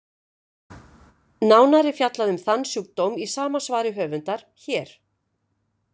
Nánar er fjallað um þann sjúkdóm í svari sama höfundar, hér.